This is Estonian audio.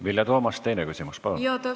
Vilja Toomast, teine küsimus palun!